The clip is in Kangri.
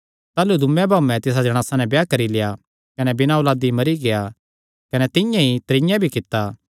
ताह़लू दूँये भाऊयें तिसा जणासा नैं ब्याह करी लेआ कने बिना औलादी मरी गेआ कने तिंआं ई त्रीयें भी कित्ता